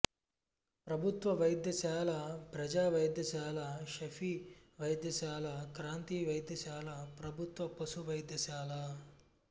ప్రభుత్వ వైద్యశాల ప్రజా వైద్యశాల షఫీ వైద్యశాల క్రాంతి వైద్యశాల ప్రభుత్వ పశు వైద్యశాల